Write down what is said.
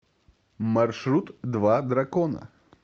маршрут два дракона